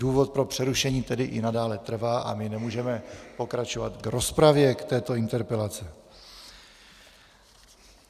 Důvod pro přerušení tedy i nadále trvá a my nemůžeme pokračovat v rozpravě k této interpelaci.